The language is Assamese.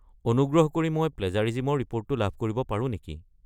অনুগ্ৰহ কৰি মই প্লেজাৰিজিমৰ ৰিপোৰ্টটো লাভ কৰিব পাৰো নেকি?